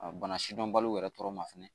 bana sidɔnbaliw yɛrɛ tɔɔrɔ ma fɛnɛ